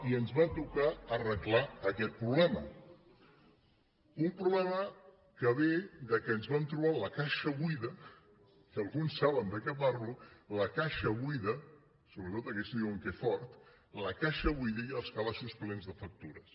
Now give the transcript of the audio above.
i ens va tocar arreglar aquest problema un problema que ve del fet que ens vam trobar la caixa buida i alguns saben de què parlo la caixa buida sobretot aquells que diuen que fort la caixa buida i els calaixos plens de factures